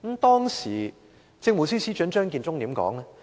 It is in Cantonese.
當時政務司司長張建宗怎樣回應？